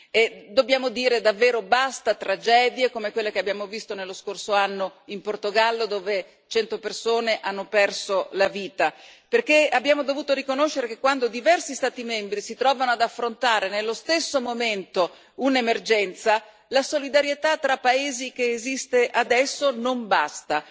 E dobbiamo dire davvero basta tragedie come quelle che abbiamo visto nello scorso anno in Portogallo, dove 100 persone hanno perso la vita, perché abbiamo dovuto riconoscere che, quando diversi Stati membri si trovano ad affrontare nello stesso momento un'emergenza, la solidarietà tra paesi che esiste adesso non basta.